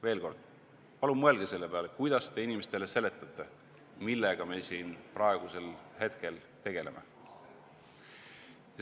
Veel kord: palun mõelge selle peale, kuidas te inimestele seletate, miks me sellega just praegusel hetkel tegeleme.